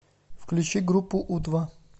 включи группу у два